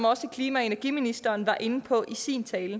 også klima og energiministeren var inde på i sin tale